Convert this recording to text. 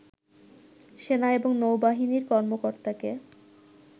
সেনা এবং নৌবাহিনীর কর্মকর্তাকে